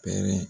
Pɛrɛn